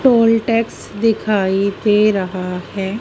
Toll tax दिखाई दे रहा है।